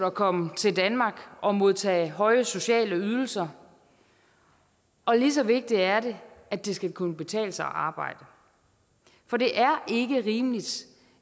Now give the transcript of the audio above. at komme til danmark og modtage høje sociale ydelser og lige så vigtigt er det at det skal kunne betale sig at arbejde for det er ikke rimeligt